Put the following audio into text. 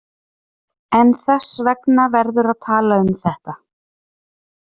En þess vegna verður að tala um þetta.